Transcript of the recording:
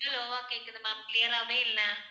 low ஆ கேக்குது ma'am clear ஆவே இல்லை